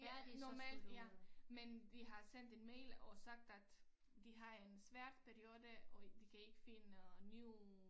Ja normalt ja men vi har sendt en mail og ssagt at de har en svær periode og de kan ikke finde new